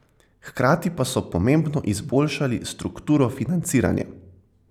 Hkrati pa so pomembno izboljšali strukturo financiranja.